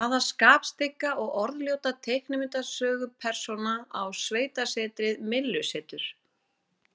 Hvaða skapstygga og orðljóta teiknimyndasögupersóna á sveitasetrið Myllusetur?